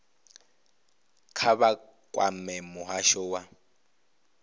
kha vha kwame muhasho wa